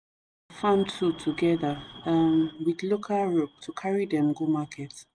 farm tool together um with local rope to carry dem go market